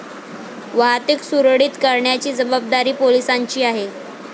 वाहतुक सुरळीत करण्याची जबाबदारी पोलिसांची आहे.